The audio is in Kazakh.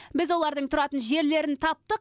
біз олардың тұратын жерлерін таптық